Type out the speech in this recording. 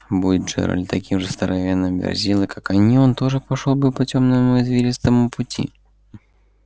будь джералд таким же здоровенным верзилой как они он тоже пошёл бы по тёмному извилистому пути